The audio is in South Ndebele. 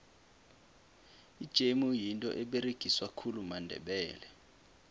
ijemu yinto eberegiswa khulu mandebele